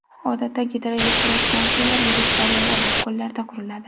Odatda gidroelektrostansiyalar yirik daryolar va ko‘llarda quriladi.